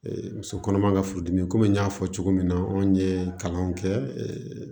muso kɔnɔma ka furudimi komi n y'a fɔ cogo min na anw ye kalanw kɛ